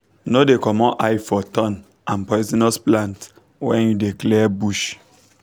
no dey comot eye for thorn and poisonous plant when you dey clear bush